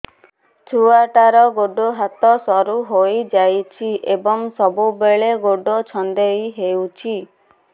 ଛୁଆଟାର ଗୋଡ଼ ହାତ ସରୁ ହୋଇଯାଇଛି ଏବଂ ସବୁବେଳେ ଗୋଡ଼ ଛଂଦେଇ ହେଉଛି